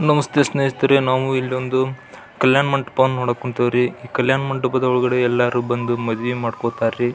ನಮಸ್ತೆ ಸ್ನೇಹಿತರೆ ನಾವು ಇಲ್ಲಿ ಒಂದು ಕಲ್ಯಾಣ ಮಂಟಪವನ್ನು ನೋಡಕ್ ಹೊಂತೀವ್ರಿ ಈ ಕಲ್ಯಾಣ ಮಂಟಪದ ಒಳಗಡೆ ಎಲ್ಲರೂ ಬಂದು ಮದುವೆ ಮಾಡ್ಕೊತಾರ್ ರೀ.